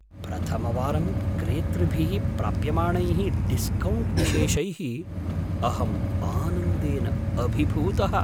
प्रथमवारं क्रेतृभिः प्राप्यमाणैः डिस्कौण्ट् विशेषैः अहम् आनन्देन अभिभूतः।